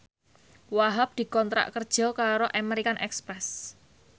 Wahhab dikontrak kerja karo American Express